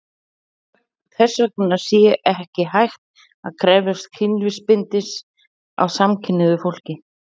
Þess vegna sé ekki hægt að krefjast kynlífsbindindis af samkynhneigðu fólki.